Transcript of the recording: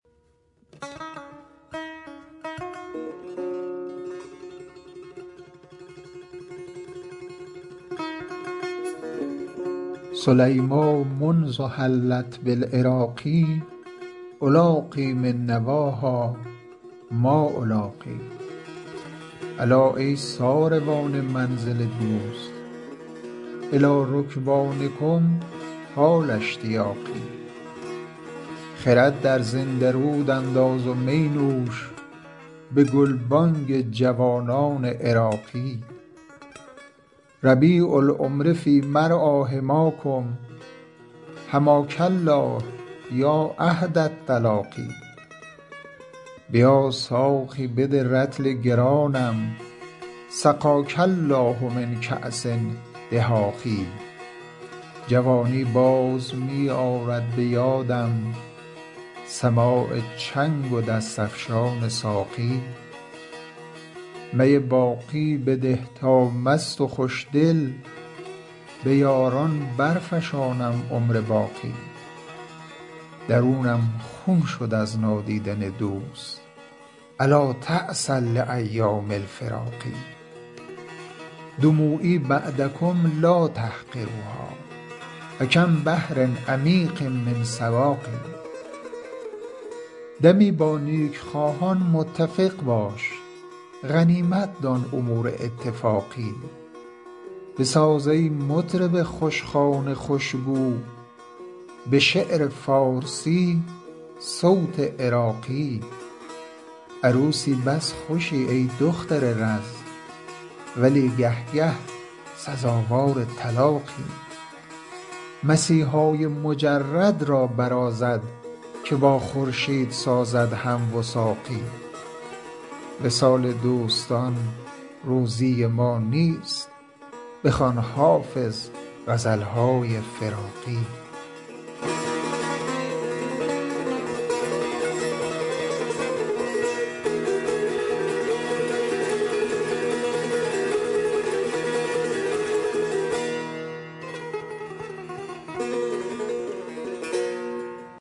سلیمیٰ منذ حلت بالعراق ألاقی من نواها ما ألاقی الا ای ساروان منزل دوست إلی رکبانکم طال اشتیاقی خرد در زنده رود انداز و می نوش به گلبانگ جوانان عراقی ربیع العمر فی مرعیٰ حماکم حماک الله یا عهد التلاقی بیا ساقی بده رطل گرانم سقاک الله من کأس دهاق جوانی باز می آرد به یادم سماع چنگ و دست افشان ساقی می باقی بده تا مست و خوشدل به یاران برفشانم عمر باقی درونم خون شد از نادیدن دوست ألا تعسا لأیام الفراق دموعی بعدکم لا تحقروها فکم بحر عمیق من سواق دمی با نیکخواهان متفق باش غنیمت دان امور اتفاقی بساز ای مطرب خوشخوان خوشگو به شعر فارسی صوت عراقی عروسی بس خوشی ای دختر رز ولی گه گه سزاوار طلاقی مسیحای مجرد را برازد که با خورشید سازد هم وثاقی وصال دوستان روزی ما نیست بخوان حافظ غزل های فراقی